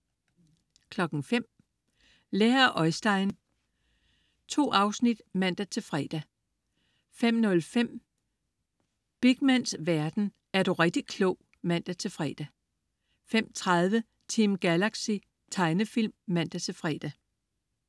05.00 Lær af Oistein. 2 afsnit (man-fre) 05.05 Beakmans verden. Er du rigtig klog? (man-fre) 05.30 Team Galaxy. Tegnefilm (man-fre)